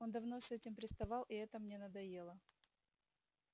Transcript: он давно с этим приставал и это мне надоело